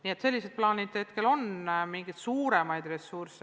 Nii et sellised plaanid hetkel on.